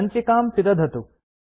सञ्चिकां पिदधतु